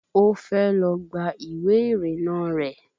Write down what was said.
Ó fẹ́ lọ gba ìwé ìrìnnà rẹ̀